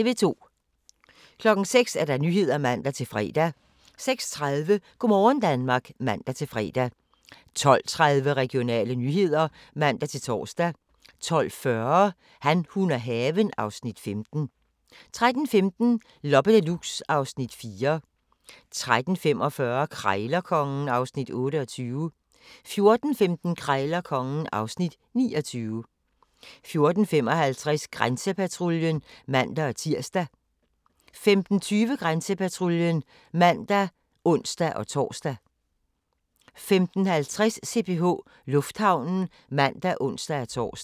06:00: Nyhederne (man-fre) 06:30: Go' morgen Danmark (man-fre) 12:30: Regionale nyheder (man-tor) 12:40: Han, hun og haven (Afs. 15) 13:15: Loppe Deluxe (Afs. 4) 13:45: Krejlerkongen (Afs. 28) 14:15: Krejlerkongen (Afs. 29) 14:55: Grænsepatruljen (man-tir) 15:20: Grænsepatruljen (man og ons-tor) 15:50: CPH Lufthavnen (man og ons-tor)